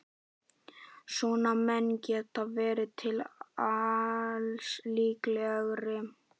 Svona menn geta verið til alls líklegir.